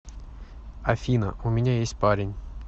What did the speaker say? афина у меня есть парень